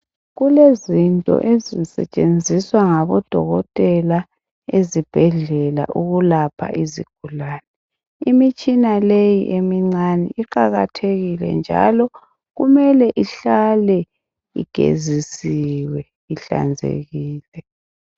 Kulezinto ezisetshenziswa ngabodokotela ezibhedlela ukulapha izigulane. Imitshina leyi emincane iqakathekile njalo kumele ihlale igezisiwe ihlanzekile.